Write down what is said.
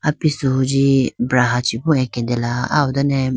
apisu huji braha chibu aketela aw done.